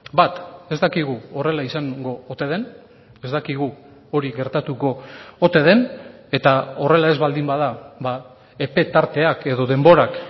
bat ez dakigu horrela izango ote den ez dakigu hori gertatuko ote den eta horrela ez baldin bada epe tarteak edo denborak